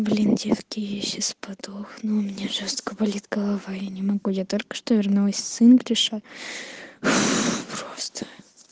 блин девки я сейчас подохну мне жёстко болит голова я не могу я только что вернулась с инглиша просто